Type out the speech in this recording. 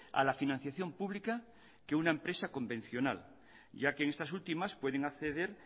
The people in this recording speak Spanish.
a la financiación pública que una empresa convencional ya que estas últimas pueden acceder